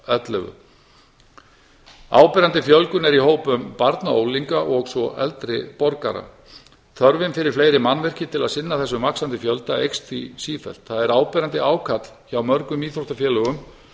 ellefu áberandi fjölgun er í hópum barna og unglinga og svo eldri borgara þörfin fyrir fleiri mannvirki til að sinna þessum vaxandi fjölda eykst því sífellt það er áberandi ákall hjá mörgum íþróttafélögum